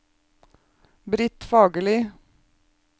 Britt Fagerli